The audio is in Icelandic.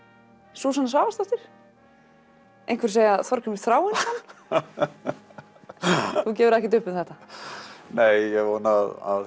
Súsanna Svavarsdóttir einhverjir segja Þorgrímur Þráinsson þú gefur ekkert uppi um þetta nei ég vona að